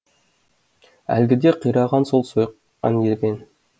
әлгіде қираған сол сойқан екен